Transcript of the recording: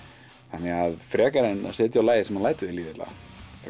henni frekar en að setja á lagið sem lætur þér líða illa